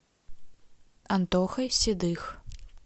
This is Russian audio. антохой седых